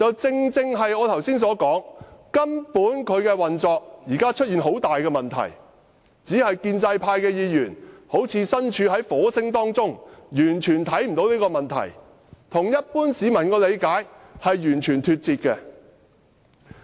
正如我剛才所說，現時廉署的運作出現很大問題，只是建制派議員好像身處火星一樣，完全看不到這個問題，跟一般市民的理解完全脫節。